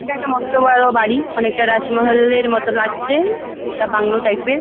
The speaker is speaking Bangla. এইটা একটা মস্ত বড়ো বাড়ি। আনকেটা রাজমহলের মতো লাগছে একটা বাংলো টাইপ ।